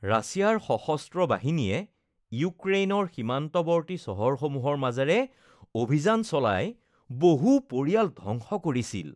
ৰাছিয়াৰ সশস্ত্ৰ বাহিনীয়ে ইউক্ৰেইনৰ সীমান্তৱৰ্তী চহৰসমূহৰ মাজেৰে অভিযান চলাই বহু পৰিয়াল ধ্বংস কৰিছিল।